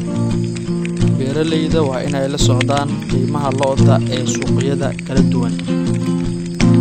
Beeralayda waa inay la socdaan qiimaha lo'da ee suuqyada kala duwan.